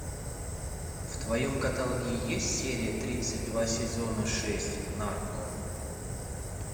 в твоем каталоге есть серия тридцать два сезона шесть нарко